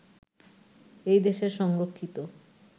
এই দেশের সংরক্ষিত